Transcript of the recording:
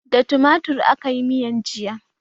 Da tumatir akayi miyan jiya